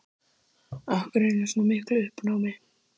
Af hverju hún var í svona miklu uppnámi.